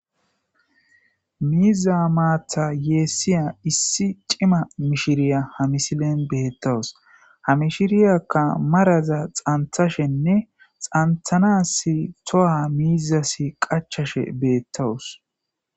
miiza maatha yeessiya issi cima mishiriya ha misilen beettawus ha mishiriyakka maraza dhanthashenne dhanthanas toha miizasi qachashe beettawus